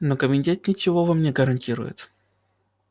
но комитет ничего вам не гарантирует